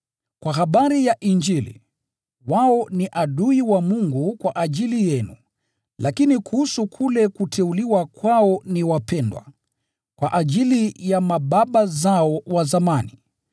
Kwa habari ya Injili, wao ni adui wa Mungu kwa ajili yenu, lakini kuhusu kule kuteuliwa kwao ni wapendwa, kwa ajili ya mababa zao wa zamani,